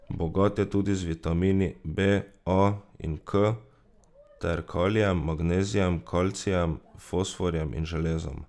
Bogat je tudi z vitamini B, A in K ter kalijem, magnezijem, kalcijem, fosforjem in železom.